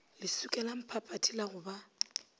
leswika lamphaphathi la go ba